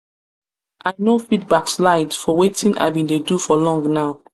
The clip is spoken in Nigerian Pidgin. i no fit backslide for wetin i been dey do for long now.